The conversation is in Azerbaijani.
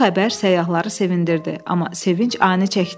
Bu xəbər səyyahları sevindirdi, amma sevinc ani çəkdi.